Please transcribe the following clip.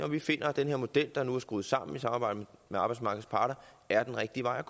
vi finder at den her model der nu er skruet sammen i samarbejde med arbejdsmarkedets parter er den rigtige vej